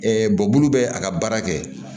bolo bɛ a ka baara kɛ